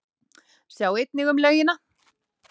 Sjá einnig um laugina